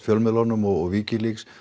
fjölmiðlunum og Wikileaks